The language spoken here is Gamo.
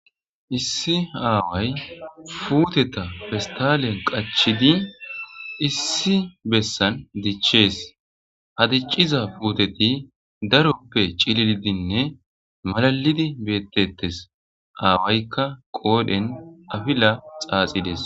issi aaway futeta pestalen qachidi issi bessan dichees ha dicciza puuteti daroppe cilidinne malalidi bettetes aawaykka qoodhen afila xaaxides